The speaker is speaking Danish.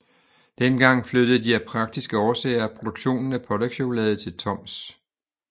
Dengang flyttede de af praktiske årsager produktionen af pålægschokolade til Toms